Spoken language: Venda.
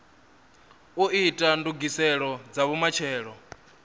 u ita ndugiselo dza vhumatshelo